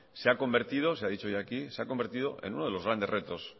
se ha convertido se ha dicho hoy aquí se ha convertido en uno de los grandes retos